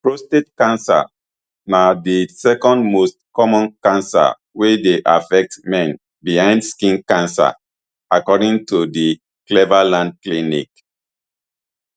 prostate cancer na di second most common cancer wey dey affect men behind skin cancer according to di cleveland clinic